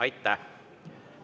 Aitäh!